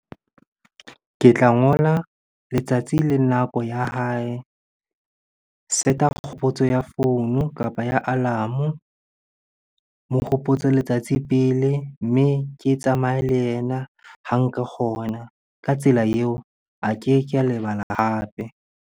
Ke tla ngola letsatsi le nako ya hae. Set-a kgopotso ya founu kapa ya alarm-o. Mo hopotse letsatsi pele, mme ke tsamaye le yena ha nka kgona. Ka tsela eo, a keke a lebala hape.